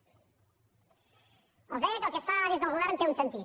els deia que el que es fa des del govern té un sentit